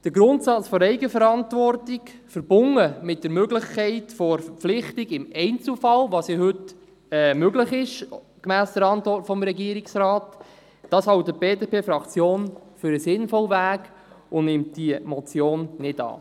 Den Grundsatz der Eigenverantwortung, verbunden mit der Möglichkeit der Verpflichtung im Einzelfall – was ja heute gemäss Regierungsantwort möglich ist – hält die BDP-Fraktion für den sinnvollen Weg, und sie nimmt diese Motion nicht an.